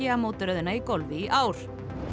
mótaröðina í golfi í ár